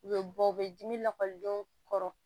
U bɛ bɔ u bɛ dimi lakɔlidenw kɔrɔ